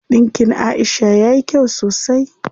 Ɗinkin Aisha yayi kyau sosai.